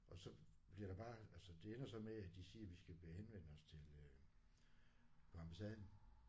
Og så bliver der bare altså det ender så med at de siger vi skal henvende os til øh på ambassaden